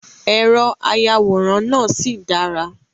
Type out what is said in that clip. Èrò ayàwòrán náà sì dára.